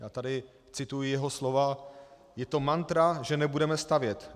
Já tady cituji jeho slova: "Je to mantra, že nebudeme stavět.